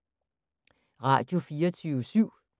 Radio24syv